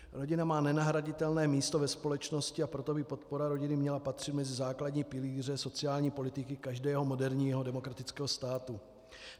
Rodina má nenahraditelné místo ve společnosti, a proto by podpora rodiny měla patřit mezi základní pilíře sociální politiky každého moderního demokratického státu.